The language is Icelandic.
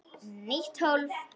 Nýtt hólf.